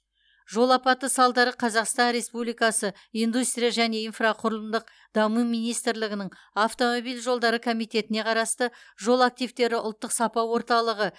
жол апаты салдары қазақстан республикасы индустрия және инфрақұрылымдық даму министрлігінің автомобиль жолдары комитетіне қарасты жол активтері ұлттық сапа орталығы